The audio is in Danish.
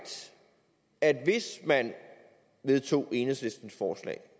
at hvis man vedtog enhedslistens forslag